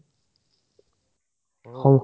ঔহ